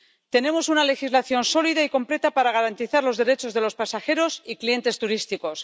Tenemos una legislación sólida y completa para garantizar los derechos de los pasajeros y clientes turísticos.